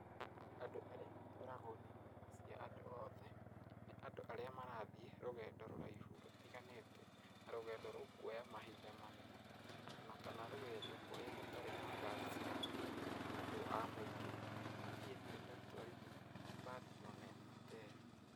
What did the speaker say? Andũ arĩa matwaragwo nĩ mbathi cia andũ othe, nĩ andũ arĩa marathiĩ rũgendo rũraihu rũtiganĩte, na rũgendo rũkuoya mahinda manene, o na kana rũgendo kũrĩa gũtarĩ na ngari cia andũ a mũingĩ, na niĩ ndirĩ ndatwarithia mbathi o na ĩmwe te ĩyo.